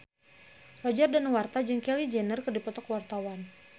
Roger Danuarta jeung Kylie Jenner keur dipoto ku wartawan